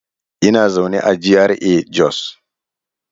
Ina zaune a GRA Jos.